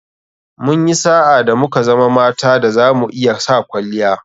Munyi sa'a da muka zama mata da zamu iya sa [kwalliya]